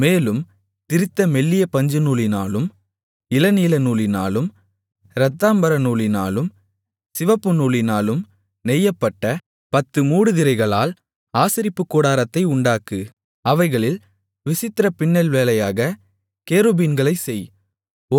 மேலும் திரித்த மெல்லிய பஞ்சுநூலினாலும் இளநீலநூலினாலும் இரத்தாம்பரநூலினாலும் சிவப்பு நூலினாலும் நெய்யப்பட்ட பத்து மூடுதிரைகளால் ஆசரிப்பு கூடாரத்தை உண்டாக்கு அவைகளில் விசித்திர பின்னல்வேலையாகக் கேருபீன்களைச் செய்